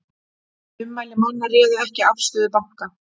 Ummæli manna réðu ekki afstöðu banka